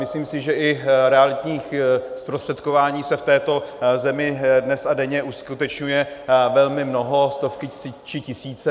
Myslím si, že i realitních zprostředkování se v této zemi dnes a denně uskutečňuje velmi mnoho, stovky či tisíce.